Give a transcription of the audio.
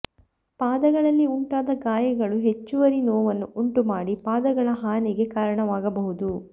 ಪಾದಗಳಲ್ಲಿ ಉಂಟಾದ ಗಾಯಗಳು ಹೆಚ್ಚುವರಿ ನೋವನ್ನು ಉಂಟುಮಾಡಿ ಪಾದಗಳ ಹಾನಿಗೆ ಕಾರಣವಾಗಬಹುದು